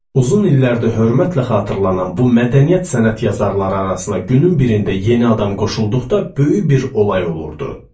Uzun illərdir hörmətlə xatırlanan bu mədəniyyət sənət yazarları arasına günün birində yeni adam qoşulduqda böyük bir olay olurdu.